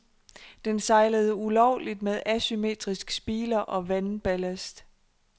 Den sejlede ulovligt med asymmetrisk spiler og vandballast.